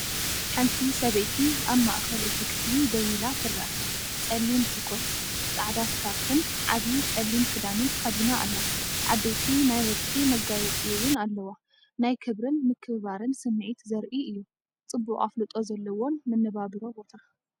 ሓንቲ ሰበይቲ ኣብ ማእከል እቲ ክፍሊ ደው ኢላ ትርአ። ጸሊም ት ኮት፡ ጻዕዳ ስካርፍን ዓቢ ጸሊም ክዳንን ተኸዲና ኣላ። ዓበይቲ ናይ ወርቂ መጋየፀፂ እውን ኣለዋ። ናይ ክብርን ምክብባርን ስምዒት ዘርኢ እዩ፤ ፅቡቅ ኣፍልጦ ዘለዎን መነባብሮ ቦታ።